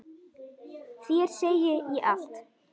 Þér segi ég allt.